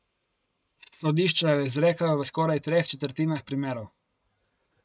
Sodišča jo izrekajo v skoraj treh četrtinah primerov.